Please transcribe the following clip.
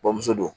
Bamuso do